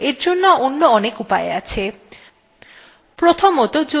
no এর জন্য অন্য অনেক উপায় আছে